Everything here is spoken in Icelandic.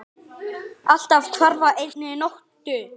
Allt hvarf á einni nóttu.